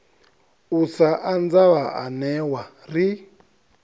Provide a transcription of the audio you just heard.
u sa anza vhaanewa ri